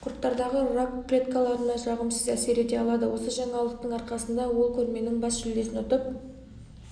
құрттардағы рак клеткаларына жағымсыз әсер ете алады осы жаңалықтың арқасында ол көрменің бас жүлдесін ұтып